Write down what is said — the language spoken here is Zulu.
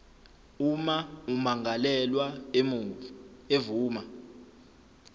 uma ummangalelwa evuma